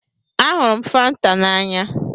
Ahụrụ m Fanta n'anya.